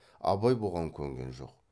абай бұған көнген жоқ